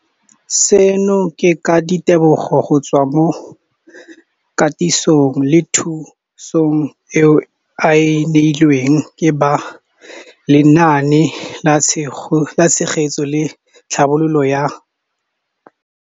Seno ke ka ditebogo go tswa mo katisong le thu song eo a e neilweng ke ba Lenaane la Tshegetso le Tlhabololo ya.